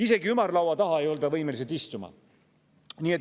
Isegi ümarlaua taha ei olda võimelised istuma.